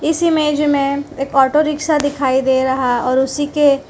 इस इमेज में एक ऑटो रिक्शा दिखाई दे रहा और उसी के --